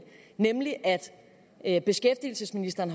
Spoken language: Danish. at at at beskæftigelsesministeren